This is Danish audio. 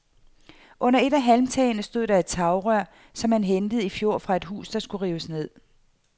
Under et af halmtagene stod der tagrør, som han hentede i fjor fra et hus, der skulle rives ned.